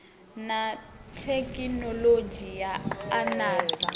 na thekhinoḽodzhi ya u andadza